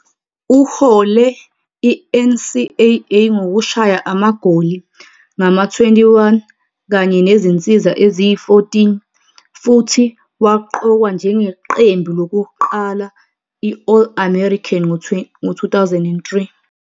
Uhole i- NCAA ngokushaya amagoli ngama-21 kanye nezinsiza eziyi-14 futhi waqokwa njengeQembu Lokuqala i-All-American ngo-2003.